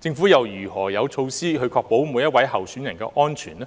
政府又有何措施確保每一位候選人的安全呢？